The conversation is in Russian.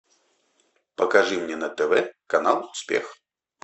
покажи мне на тв канал успех